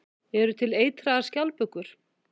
Eru til eitraðar skjaldbökur?